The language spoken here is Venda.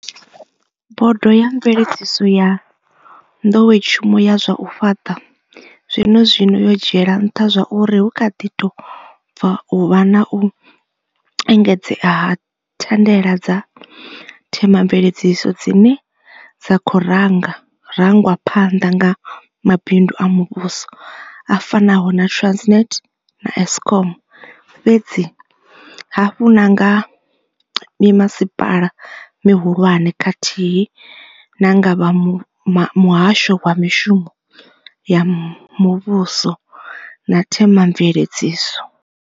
Bodo ya mveledziso ya nḓowetshumo ya zwa u fhaṱa zwenezwino yo dzhiela nṱha zwauri hu kha ḓi tou bva u vha na u engedzea ha thandela dza themamveledziso dzine dza khou ranga rangwa phanḓa nga mabindu a muvhuso a fanaho na Transnet na Eskom, fhedzi hafhu na nga mimasipala mihulwane khathihi na nga vha muhasho wa mishumo ya muvhuso na themamveledziso.